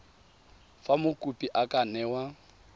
fa mokopi a ka newa